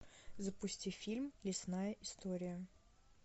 запусти фильм лесная история